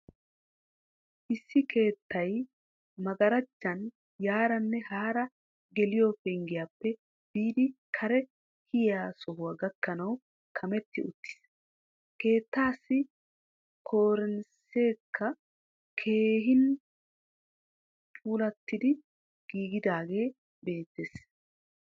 Issi keettay maggarajjan yaaranne haara geliyo penggiyappe biidi kare kiyiyi sohuwa gakkanawu kametti uttiis. Keettaassi koriniiseekka keehin puulattidi giigidaagee beettees.